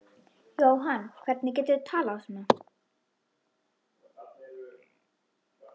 Jóhann, hvernig geturðu talað svona?